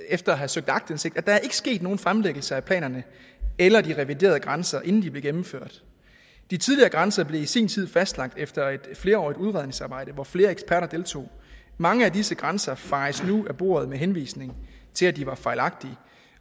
efter at have søgt aktindsigt at der ikke er sket nogen fremlæggelse af planerne eller de reviderede grænser inden de blev gennemført de tidligere grænser blev i sin tid fastlagt efter et flerårigt udredningsarbejde hvor flere eksperter deltog mange af disse grænser fejes nu af bordet med henvisning til at de var fejlagtige